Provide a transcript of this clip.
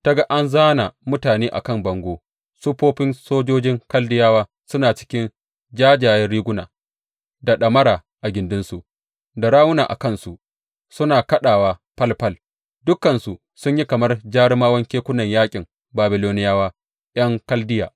Ta ga an zāna mutane a kan bango, siffofin sojojin Kaldiyawa suna cikin jajjayen riguna, da ɗamara a gindinsu da rawuna a kansu suna kaɗawa falfal; dukansu sun yi kamar jarumawan kekunan yaƙin Babiloniyawa ’yan Kaldiya.